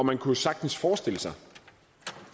og man kunne sagtens forestille sig